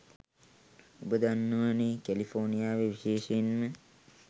ඔබ දන්නවනෙ කැලිෆෝනියාවේ විශේෂයෙන්ම